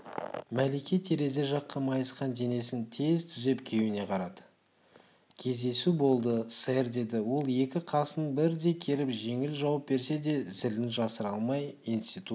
мәлике терезе жаққа майысқан денесін тез түзеп күйеуіне қарады кездесу болды сэр деді ол екі қасын бірдей керіп жеңіл жауап берсе де зілін жасыра алмай институт